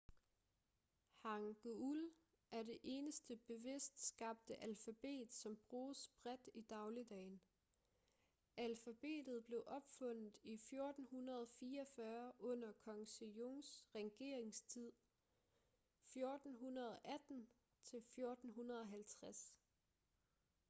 hangeul er det eneste bevidst skabte alfabet som bruges bredt i dagligdagen. alfabetet blev opfundet i 1444 under kong sejongs regeringstid 1418-1450